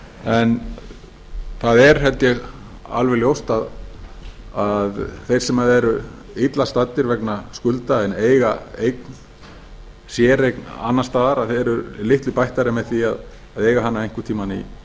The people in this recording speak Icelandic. en það er held ég alveg ljóst að þeir sem eru illa staddir vegna skulda en eiga séreign annars staðar eru litlu bættari með því að eiga hana einhvern tíma